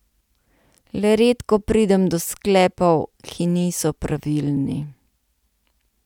Le redko pridem do sklepov, ki niso pravilni.